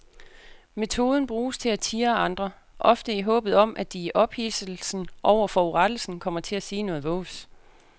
Metoden bruges til at tirre andre, ofte i håbet om at de i ophidselsen over forurettelsen kommer til at sige noget vås.